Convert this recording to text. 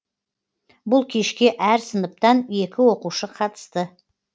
бұл кешке әр сыныптан екі оқушы қатысты